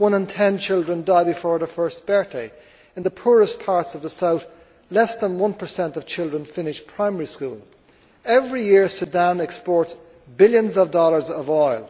One in ten children die before their first birthday. In the poorest parts of the South, less than one percent of children finish primary school. Every year Sudan exports billions of dollars of oil.